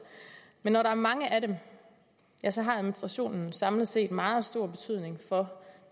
men når der er mange af dem ja så har administrationen samlet set meget stor betydning for